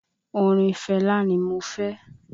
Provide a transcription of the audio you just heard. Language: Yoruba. Orin Fẹlá ni mo fẹ́